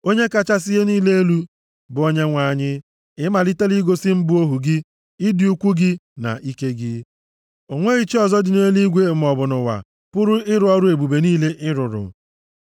“Onye kachasị ihe niile elu, bụ Onyenwe anyị ị malitela igosi mụ bụ ohu gị ịdị ukwuu gị na ike gị. O nweghị chi ọzọ dị nʼeluigwe maọbụ nʼụwa pụrụ ịrụ ọrụ ebube niile ị rụrụ.